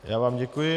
Já vám děkuji.